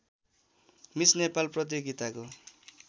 miss Nepal प्रतियोगिताको